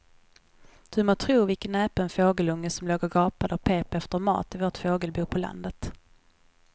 Du må tro vilken näpen fågelunge som låg och gapade och pep efter mat i vårt fågelbo på landet.